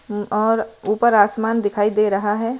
और ऊपर आसमान दिखाई दे रहा है।